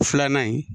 Filanan in